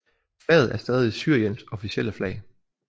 Flaget er stadig Syriens officielle flag